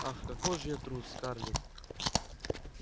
ах какой же я трус скарлетт